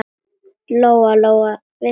Lóa-Lóa vissi það.